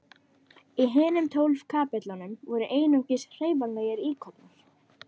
Í hinum tólf kapellunum voru einungis hreyfanlegir íkonar.